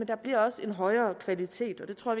der bliver også en højere kvalitet og det tror